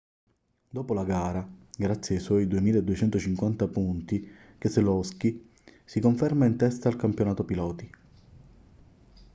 dopo la gara grazie ai suoi 2.250 punti keselowski si conferma in testa al campionato piloti